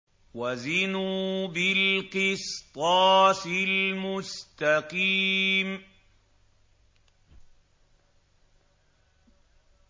وَزِنُوا بِالْقِسْطَاسِ الْمُسْتَقِيمِ